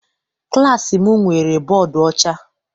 Klassi m nwere bọdu ọcha.